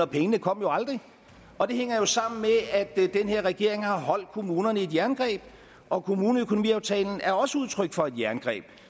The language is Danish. pengene kom jo aldrig og det hænger jo sammen med at den her regering har holdt kommunerne i et jerngreb og kommuneøkonomiaftalen er også udtryk for et jerngreb